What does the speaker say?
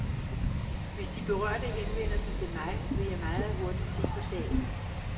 Hvis de berørte henvender sig til mig, vil jeg meget hurtigt se på sagen.